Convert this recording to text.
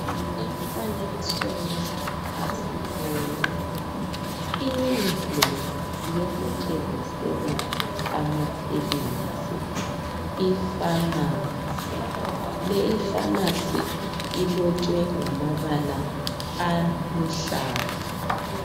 Emfanekisweni lapha sibona indlu yokuthengisela amaphilisi ipharmacy. Leyi ipharmacy ilotshwe ngamabala aluhlaza.